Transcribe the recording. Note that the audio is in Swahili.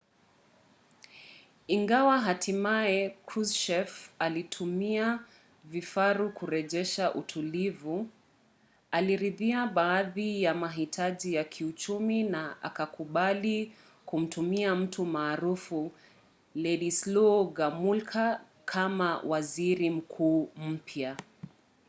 ingawa hatimaye kruschev alituma vifaru kurejesha utulivu aliridhia baadhi ya mahitaji ya kiuchumi na akakubali kumteua mtu maarufu wladyslaw gomulka kama waziri mkuu mpya